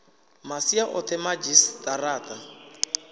masia o the madzhisi tara